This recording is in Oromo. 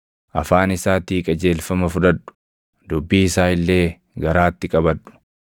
Afaan isaatii qajeelfama fudhadhu; dubbii isaa illee garaatti qabadhu.